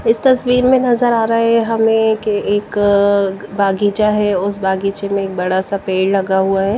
इस तस्वीर में नजर आ रहा है हमें कि एक बगीचा है उस बगीचे में एक बड़ा सा पेड़ लगा हुआ है।